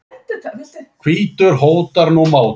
hvítur hótar nú máti.